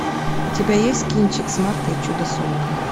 у тебя есть кинчик смарта и чудо сумка